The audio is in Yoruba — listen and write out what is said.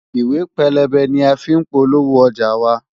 Ìwé pélébé ni a fí ń polówó ọjà wa.